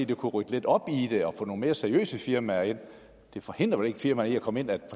det kunne rydde lidt op i det at få nogle mere seriøse firmaer ind det forhindrer vel ikke firmaer i at komme ind at